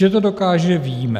Že to dokáže, víme.